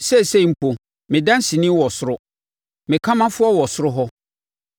Seesei mpo, me danseni wɔ soro; Me ɔkamafoɔ wɔ soro hɔ.